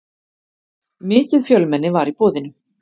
Mikið fjölmenni var í boðinu